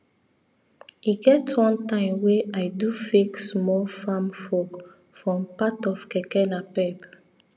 e get one time wey i do fake small farm fork from part of keke napep